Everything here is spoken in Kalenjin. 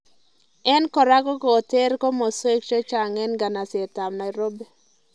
En korako koketer komaswwek cheng'ai en nganaset ab Nairobi